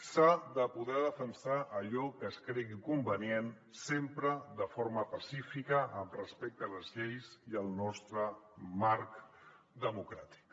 s’ha de poder defensar allò que es cregui convenient sempre de forma pacífica amb respecte a les lleis i al nostre marc democràtic